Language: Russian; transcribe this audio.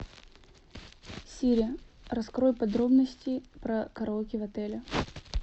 сири раскрой подробности про караоке в отеле